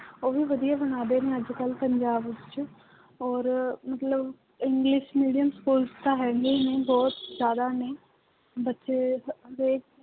ਉਹ ਵੀ ਵਧੀਆ ਬਣਾ ਰਹੇ ਨੇ ਅੱਜ ਕੱਲ੍ਹ ਪੰਜਾਬ ਵਿੱਚ ਔਰ ਮਤਲਬ english medium schools ਤਾਂ ਹੈਗੇ ਹੀ ਨੇ ਬਹੁਤ ਜ਼ਿਆਦਾ ਨੇ, ਬੱਚੇ